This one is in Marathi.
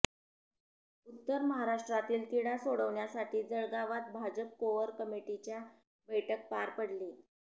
उत्तर महाराष्ट्रातील तिढा सोडवण्यासाठी जळगावात भाजप कोअर कमिटीच्या बैठक पार पडली